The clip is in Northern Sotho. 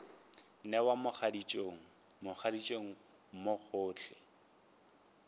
newa mogaditšong mogaditšong mo gohle